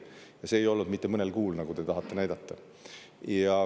Ja see ei olnud mitte mõnel kuul, nagu te tahate näidata.